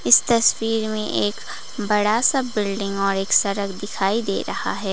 इस तस्वीर में एक बड़ा सा बिल्डिंग और एक सड़क दिखाई दे रहा है।